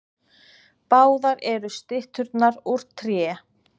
Báðar eru stytturnar úr tré